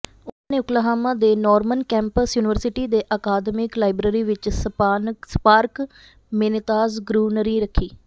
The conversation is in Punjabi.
ਉਨ੍ਹਾਂ ਨੇ ਓਕਲਾਹਾਮਾ ਦੇ ਨੋਰਮਨ ਕੈਂਪਸ ਯੂਨੀਵਰਸਿਟੀ ਦੇ ਅਕਾਦਮਿਕ ਲਾਇਬ੍ਰੇਰੀ ਵਿਚ ਸਪਾਰਕ ਮੇਨੇਤਾਜ ਗਰੂਨਰੀ ਰੱਖੀ